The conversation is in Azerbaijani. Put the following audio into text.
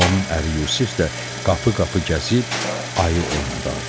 Onun əri Yusif də qapı-qapı gəzib ayı oynadardı.